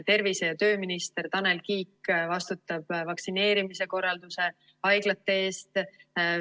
Tervise- ja tööminister Tanel Kiik vastutab vaktsineerimise korralduse ja haiglate eest.